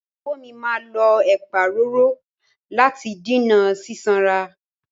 Ìyàwó mi máa lo ẹ̀pa roro láti dènà sísanra.